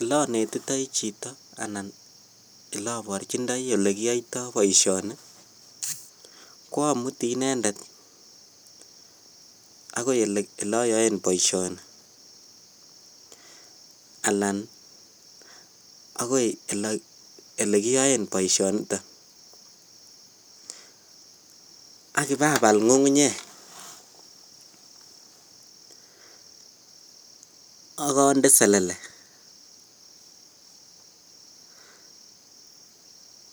Olenetitoi chito anan oloborchindoi olekiyoito boishoni ko amutii inendet akoi eloyoen boishoni alaan akoi elekiyoen boishoniton ak ibabal ng'ung'unyek ak ondee selele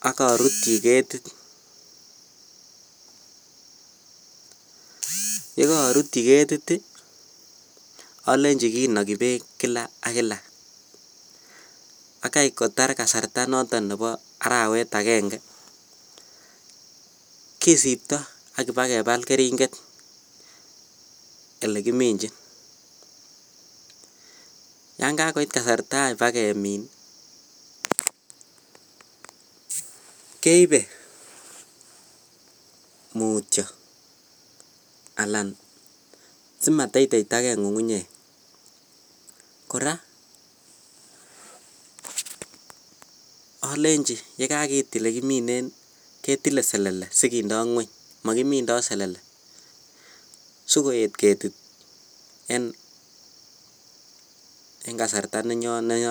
ak orutyi ketit, yekoorutyi ketit olenji kinoki beek kila ak kila bakai kotar kasarta noton nebo arawet akeng'e kisipto ak ibakebal kering'et elekiminjin, yon kakoit kasarta any bakemin keibe mutyo alaan simateiteitake ng'ung'unyek, kora olenji yekakiit elekiminen ketile selele sikindo ngweny, mokimindo selele sikoyet ketit en kasarta nenoton.